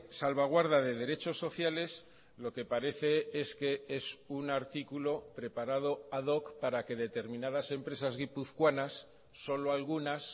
salvaguarda de derechos sociales lo que parece es que es un articulo preparado ad hoc para que determinadas empresas guipuzcoanas solo algunas